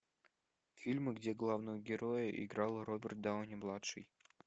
фильмы где главного героя играл роберт дауни младший